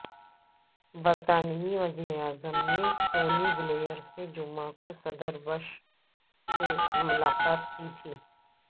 برطانوی وزیراعظم Tony Blair نے جمعہ کو صدر بش سے ملاقات کی تھی